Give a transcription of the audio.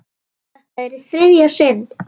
Þetta er í þriðja sinn.